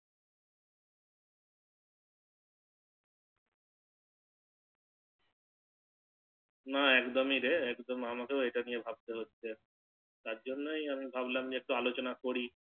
না একদমি রে আমাকেও এটা নিয়ে ভাবতে হচ্ছে তারজন্য আমি ভাবলাম একটু আলোচনা করি